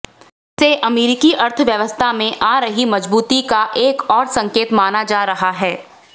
इसे अमेरिकी अर्थव्यवस्था में आ रही मजबूती का एक और संकेत माना जा रहा है